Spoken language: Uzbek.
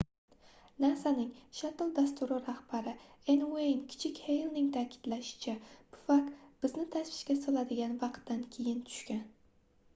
nasaning shattle dasturi rahbari n ueyn kichik heylning taʼkidlashicha pufak bizni tashvishga soladigan vaqtdan keyin tushgan